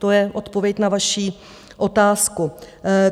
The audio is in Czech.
To je odpověď na vaši otázku.